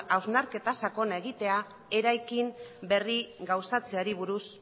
hausnarketa sakona egitea eta eraikin berri bat gauzatzeari buruz